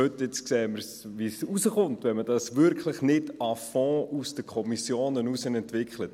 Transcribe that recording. Jetzt sehen wir, wie es herauskommt, wenn man dies wirklich nicht à fond und aus den Kommissionen heraus entwickelt.